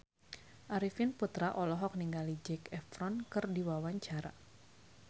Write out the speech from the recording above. Arifin Putra olohok ningali Zac Efron keur diwawancara